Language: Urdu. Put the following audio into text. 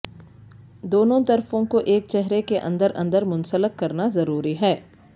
دونوں طرفوں کو ایک چہرے کے اندر اندر منسلک کرنا ضروری ہے